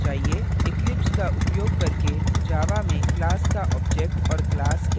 eclipse का उपयोग करके java में class का object और class कैसे बनाएँ